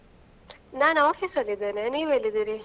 ನಾನ್ office ಅಲ್ಲಿ ಇದ್ದೇನೆ, ನೀವ್ ಎಲ್ಲಿದೀರಿ?